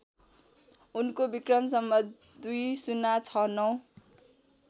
उनको वि.सं २०६९